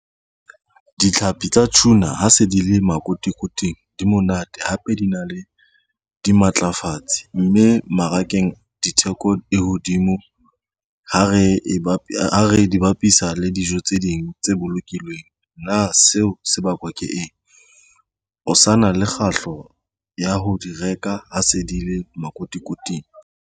Ditlhapi tsa tuna ha se di le makotikoting di monate hape di na le dimatlafatsi mme mmarakeng ditheko di hodimo ha re dibapisa le dijo tse ding tse bolokilweng. Na seo se bakwa ke eng, o sa na le kgahlo ya ho di reka ha se di le makotikoting?